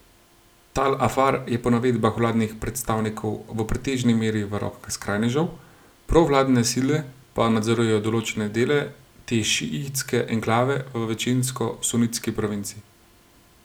Tal Afar je po navedbah vladnih predstavnikov v pretežni meri v rokah skrajnežev, provladne sile pa nadzorujejo določene dele te šiitske enklave v večinsko sunitski provinci.